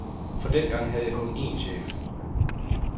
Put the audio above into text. For dengang havde jeg kun én chef.